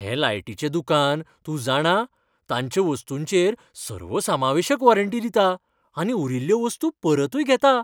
हें लायटीचें दुकान, तूं जाणा, तांच्या वस्तूंचेर सर्वसमावेशक वॉरंटी दिता, आनी उरिल्ल्यो वस्तू परतूय घेता.